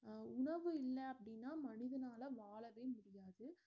அஹ் உணவு இல்ல அப்படின்னா மனிதனால வாழவே முடியாது